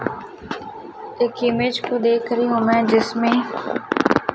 एक इमेज को देख रही हूं मैं जिसमें--